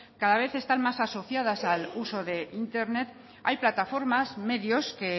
cada vez está más asociadas al uso de internet hay plataformas medios que